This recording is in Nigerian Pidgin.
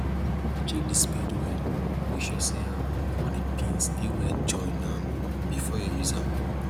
check di spade make sure say um all di pins dey well join um before you use am